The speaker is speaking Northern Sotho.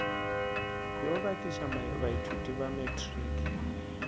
yo bakiša baithuti ba matriki